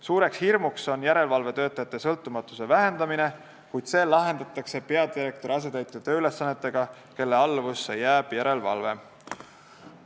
Suur hirm on järelevalvetöötajate sõltumatuse vähendamine, kuid see lahendatakse peadirektori asetäitja tööülesannete täpsustamisega, järelevalve jääb tema alluvusse.